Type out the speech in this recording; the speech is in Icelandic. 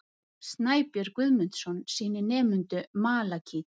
Snæbjörn Guðmundsson sýnir nemendum malakít.